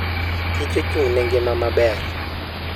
kich ochung'ne ngima maber.